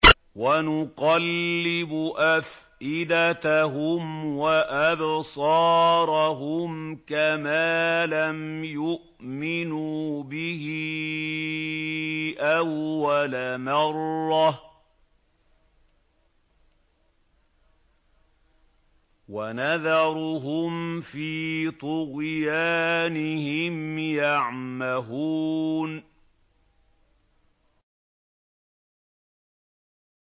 وَنُقَلِّبُ أَفْئِدَتَهُمْ وَأَبْصَارَهُمْ كَمَا لَمْ يُؤْمِنُوا بِهِ أَوَّلَ مَرَّةٍ وَنَذَرُهُمْ فِي طُغْيَانِهِمْ يَعْمَهُونَ